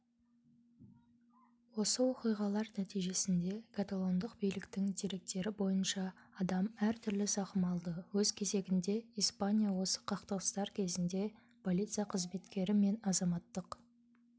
осы оқиғалардың нәтижесінде каталондық биліктің деректері бойынша адам әртүрлі зақым алды өз кезегінде испания осы қақтығыстар кезінде полиция қызметкері мен азаматтық